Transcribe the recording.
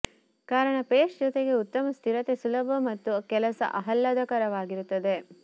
ಕಾರಣ ಪೇಸ್ಟ್ ಜೊತೆಗೆ ಉತ್ತಮ ಸ್ಥಿರತೆ ಸುಲಭ ಮತ್ತು ಕೆಲಸ ಆಹ್ಲಾದಕರವಾಗಿರುತ್ತದೆ